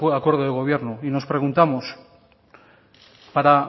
acuerdo del gobierno y nos preguntamos para